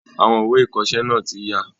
Àwọn ìwé ìkọsẹ́ náà tí ya